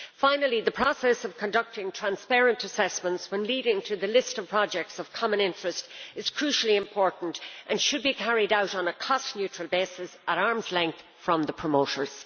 Finally, the process of conducting transparent assessments when leading to the list of projects of common interest is crucially important and should be carried out on a cost-neutral basis at arm's length from the promoters.